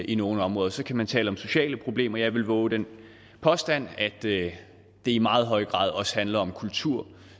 i nogle områder så kan man tale om sociale problemer og jeg vil vove den påstand at det i meget høj grad også handler om kultur